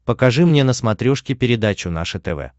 покажи мне на смотрешке передачу наше тв